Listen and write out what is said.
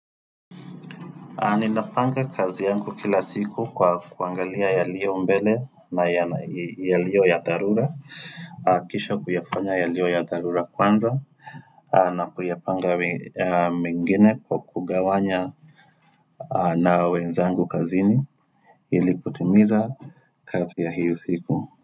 Ninapanga kazi yangu kila siku kwa kuangalia yaliyo mbele na yaliyo ya dharura Kisha kuyafanya yalio ya dharura kwanza na kuyapanga mengine kwa kugawanya na wenzangu kazini ili kutimiza kazi ya hiyo siku.